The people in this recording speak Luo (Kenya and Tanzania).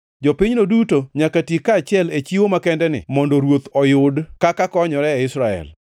Jopinyno duto nyaka ti kaachiel e chiwo makendeni mondo ruoth oyud kaka konyore e Israel.